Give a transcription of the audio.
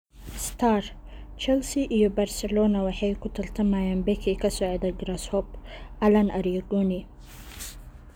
(Star) Chelsea iyo Barcelona waxay ku tartamayaan beki ka socda Grasshoppe, Alan Arigoni.